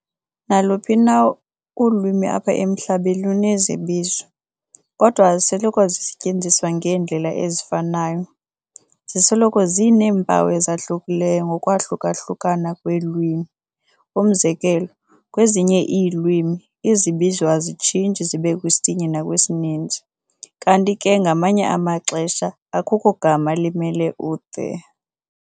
Naluphi na ulwimi apha emhlabeni, lunezibizo, kodwa azisoloko zisetyenziswa ngeendlela ezifanayo. Zisoloko zineempawu ezahlukeneyo ngokwahluka-ohlukana kweelwimi. umzekelo, Kwezinye iilwimi, izibizo azitshintshi zibekwisinye nakwisininzi, kanti ke ngamanye amaxesha akukho gama limele u-"the".